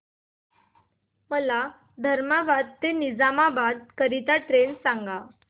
मला धर्माबाद ते निजामाबाद करीता ट्रेन सांगा